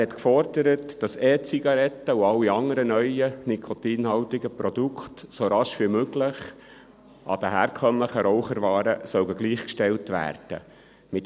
Er hat gefordert, dass E-Zigaretten und alle anderen neuen nikotinhaltigen Produkte so rasch wie möglich den herkömmlichen Raucherwaren gleichgestellt werden sollen.